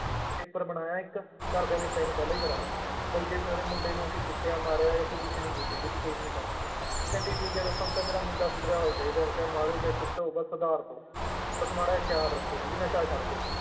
Paper ਬਣਾਇਆ ਇੱਕ ਘਰਦਿਆਂ ਦੇ sign ਪਹਿਲਾਂ ਹੀ ਕਰਵਾ ਲਏ ਵੀ ਜੇ ਤੁਹਾਡੇ ਮੁੰਡੇ ਨੂੰ ਅਸੀਂ ਕੁੱਟਿਆ, ਮਾਰਿਆ ਜਾਂ ਤੂੰ ਵਿੱਚ ਨੀ ਬੋਲੋਂਗੇ ਤੂੰ case ਨੀ ਕਰ ਸਕਦੇ, ਉਹ ਕਹਿੰਦੇ ਠੀਕ ਹੈ ਬਸ ਹੁਣ ਤਾਂ ਮੇਰਾ ਮੁੰਡਾ ਸੁਧਰਿਆ ਹੋਇਆ ਚਾਹੀਦਾ ਹੈ, ਜਾਂ ਮਾਰੋ ਚਾਹੇ ਕੁੱਟੋ ਬਸ ਸੁਧਾਰ ਦਓ ਬਸ ਮਾੜਾ ਜਿਹਾ ਖ਼ਿਆਲ ਰੱਖਿਓ ਵੀ ਨਸ਼ਾ ਛੱਡ ਦਏ।